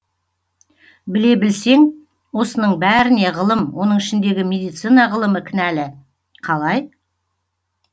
біле білсең осының бәріне ғылым оның ішіндегі медицина ғылымы кінәлі қалай